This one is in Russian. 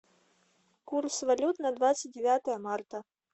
курс валют на двадцать девятое марта